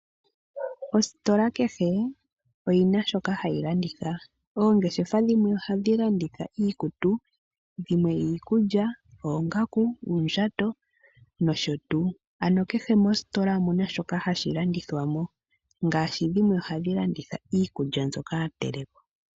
Ositola kehe oyina shoka hayi landitha, oongeshefa dhimwe ohadhi landitha iikutu, dhimwe iikulya, oongaku , uundjato noshotuu. Ano kehe moositola omuna shoka hashi landithwamo ngaashi dhimwe ohadhi landithwa Iikulya yatelekwa nale.